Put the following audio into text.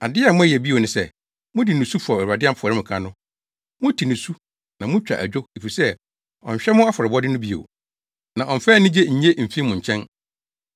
Ade a moyɛ bio ne sɛ: mode nusu fɔw Awurade afɔremuka no. Mote nusu na mutwa adwo efisɛ ɔnhwɛ mo afɔrebɔde no bio, na ɔmmfa anigye nnye mfi mo nkyɛn.